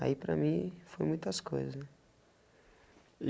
Aí, para mim, foi muitas coisas. E